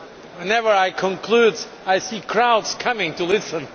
Whenever I conclude, I see crowds coming in to listen!